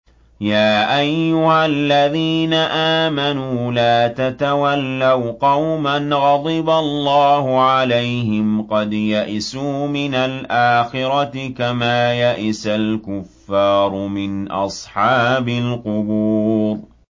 يَا أَيُّهَا الَّذِينَ آمَنُوا لَا تَتَوَلَّوْا قَوْمًا غَضِبَ اللَّهُ عَلَيْهِمْ قَدْ يَئِسُوا مِنَ الْآخِرَةِ كَمَا يَئِسَ الْكُفَّارُ مِنْ أَصْحَابِ الْقُبُورِ